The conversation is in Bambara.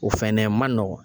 O fɛnɛ ma nɔgɔn